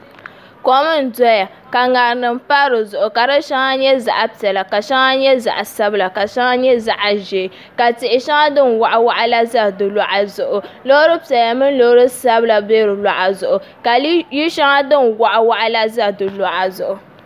Kom n doya ka ŋarima pa di zuɣu ka di shɛŋa nyɛ zaɣ piɛla ka di shɛŋa nyɛ zaɣ sabila ka shɛŋa nyɛ zaɣ ʒiɛ ka tihi shɛŋa din waɣa waɣa la ʒɛ di luɣa ni loori piɛla mini Loori sabila bɛ di luɣa zuɣu ka yili shɛŋa din waɣa waɣa la ʒɛ di luɣa zuɣu